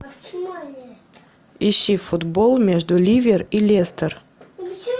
ищи футбол между ливер и лестер